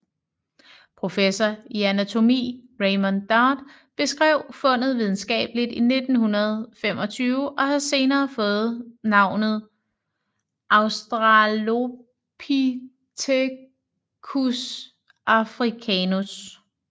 Professor i anatomi Raymond Dart beskrev fundet videnskabeligt i 1925 og har senere fået navnet Australopithecus africanus